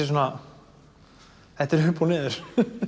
svona þetta er upp og niður